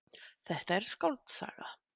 Þetta er skáldsaga.